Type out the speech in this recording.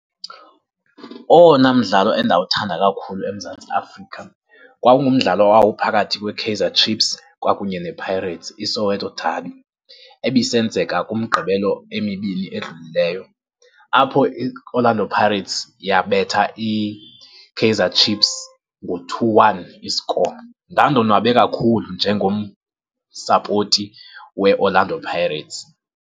Owona mdlalo endawuthanda kakhulu eMzantsi Afrika kwakungumdlalo owawuphakathi kweKaizer Chiefs kwakunye nePirates, iSoweto Derby ebisenzeka kuMgqibelo emibini edlulileyo, apho iOrlando Pirates yabetha iKaizer Chiefs ngo-two-one i-score. Ndandonwabe kakhulu njengomsapoti weOrlando Pirates.